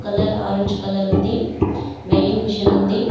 Colour orange colour ఉంది weighing machine ఉంది.